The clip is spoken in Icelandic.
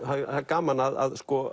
það er gaman að